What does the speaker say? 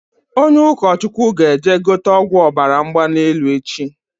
Onye ụkọ Chukwu ga eje gote ọgwụ Ọbara mgbali elu echi